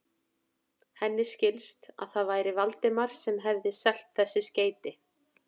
Henni skildist, að það væri Valdimar sem hefði selt þessi skeyti.